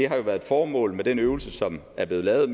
har været et formål med den øvelse som er blevet lavet